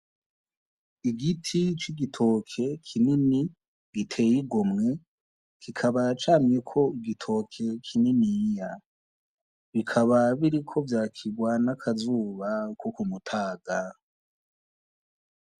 Igiti c'igitoki kinini giteye igomwe, kikaba camyeko igitoki kininiya. Bikaba biriko vyakirwa n'akazuba ko kumutaga.